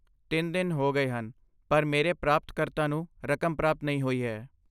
ਤਿੰਨ ਦਿਨ ਹੋ ਗਏ ਹਨ, ਪਰ ਮੇਰੇ ਪ੍ਰਾਪਤਕਰਤਾ ਨੂੰ ਰਕਮ ਪ੍ਰਾਪਤ ਨਹੀਂ ਹੋਈ ਹੈ